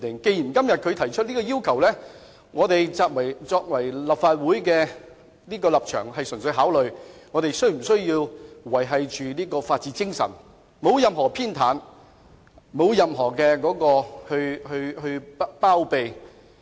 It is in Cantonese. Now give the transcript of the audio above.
既然律政司提出了這項要求，作為立法會議員，我們應考慮的是如何維護法治精神，而不會作出任何偏袒或包庇。